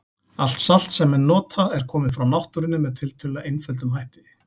Allt salt sem menn nota er komið frá náttúrunni með tiltölulega einföldum hætti.